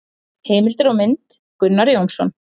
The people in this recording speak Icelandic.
Heimildir og mynd: Gunnar Jónsson.